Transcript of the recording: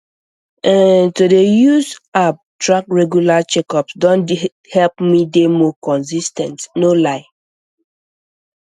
um to dey use um app track regular um checkups don help me dey more consis ten t no lie